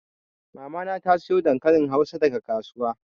Mama na ta sayo dankalin hausa daga kasuwa.